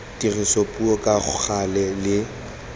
dirisa puo ka gale le